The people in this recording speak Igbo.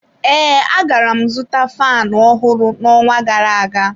Ee, agara m zụta faanụ ọhụrụ n'ọnwa gara-aga.